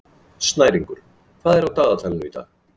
Snæringur, hvað er á dagatalinu í dag?